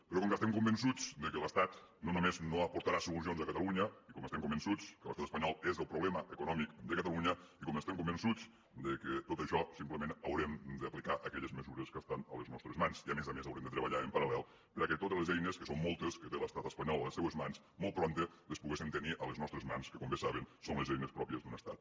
però com que estem convençuts que l’estat no només no aportarà solucions a catalunya i com que estem convençuts que l’estat espanyol és el problema econòmic de catalunya i com que estem convençuts que a tot això simplement haurem d’aplicar aquelles mesures que estan a les nostres i que a més a més haurem de treballar en paral·moltes que té l’estat espanyol a les seues mans molt prompte les puguem tenir a les nostres mans que com bé saben són les eines pròpies d’un estat